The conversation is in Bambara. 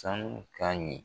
Sanu ka ɲi.